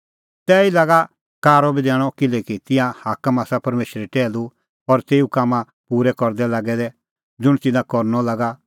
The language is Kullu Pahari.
तैही लागा कारअ बी दैणअ किल्हैकि तिंयां हाकम आसा परमेशरे टैहलू और तेऊ कामां पूरै करदै लागै दै ज़ुंण तिन्नां करनअ लागा